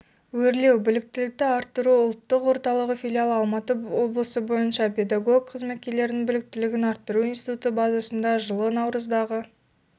өрлеубіліктілікті арттыру ұлттық орталығыфилиалы алматы облысы бойынша педагог қызметкерлердің біліктілігін арттыру институты базасында жылы наурыздағы